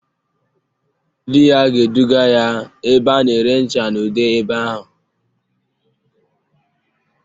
Di ya ga-eduga ya ebe a na-ere ncha na ude ebe ahụ